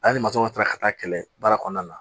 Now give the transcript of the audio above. Ale ni matɔrɔnw taara ka taa kɛlɛ baara kɔnɔna na